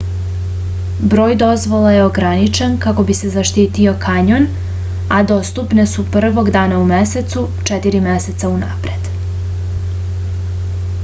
broj dozvola je ograničen kako bi se zaštitio kanjon a dostupne su prvog dana u mesecu četiri meseca unapred